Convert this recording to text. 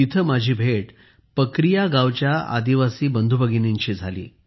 तिथे माझी भेट पकरिया गावच्या आदिवासी बंधू भगिनींशी झाली